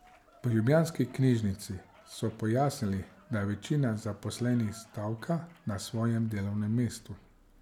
V ljubljanski knjižnici so pojasnili, da večina zaposlenih stavka na svojem delovnem mestu.